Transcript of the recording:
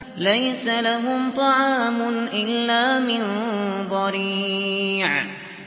لَّيْسَ لَهُمْ طَعَامٌ إِلَّا مِن ضَرِيعٍ